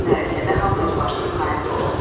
Bu mərasimdə hamı öz başının hayında olub.